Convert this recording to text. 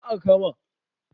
Su wa aka kama?